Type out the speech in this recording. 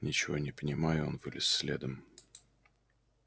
ничего не понимая он вылез следом